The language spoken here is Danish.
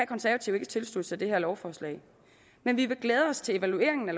konservative ikke tilslutte sig det her lovforslag men vi vil glæde os til evalueringen af